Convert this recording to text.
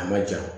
A ma ja